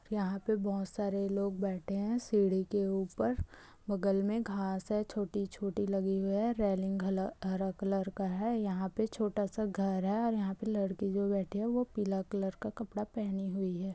यहाँ पे बहुत सारे लोग बैठे है सीढ़ी के ऊपर बगल में घास है छोटी - छोटी लगी है रेलिंग हरा कलर का है यहाँ पे छोटा सा घर है यहाँ पे लड़की जो बैठी है वो पीला कलर का कपडा पहनी हुई है।